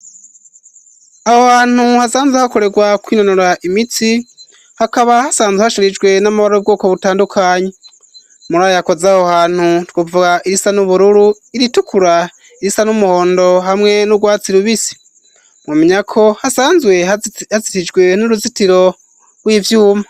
Aho hantu hasanzwe hakorerwa kwinonora imitsi, hakaba hasanzwe hashirijwe n'amabara y'ubwoko butandukanye. Muri ayo yakoze aho hantu, twovuga: irisa n'ubururu, iritukura, irisa n'umuhondo hamwe n'urwatsi rubisi. Mwomenya ko hasanzwe hazitijwe n'uruzitiro rw'ivyuma.